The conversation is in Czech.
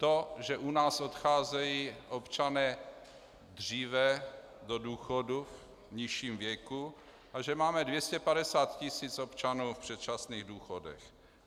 To, že u nás odcházejí občané dříve do důchodu v nižším věku a že máme 250 tisíc občanů v předčasných důchodech.